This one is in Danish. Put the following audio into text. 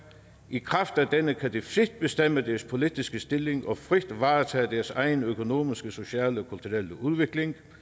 i kraft af denne kan de frit bestemme deres politiske stilling og frit varetage deres egen økonomiske sociale og kulturelle udvikling